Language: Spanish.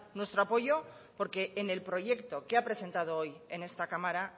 nuestro apoyo porque en el proyecto que ha presentado hoy en esta cámara